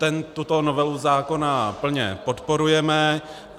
Tuto novelu zákona plně podporujeme.